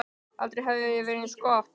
Aldrei hafði það verið eins gott.